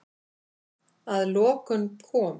Að lokum kom